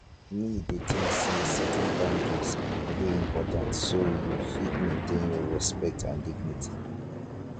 me dey think say setting boundaries dey important so you fit maintain your respect and dignity